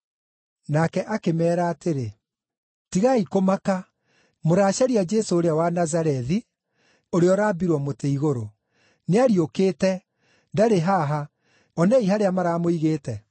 Nake akĩmeera atĩrĩ, “Tigai kũmaka. Mũracaria Jesũ ũrĩa wa Nazarethi, ũrĩa ũrambirwo mũtĩ igũrũ. Nĩariũkĩte! Ndarĩ haha. Onei harĩa maramũigĩte.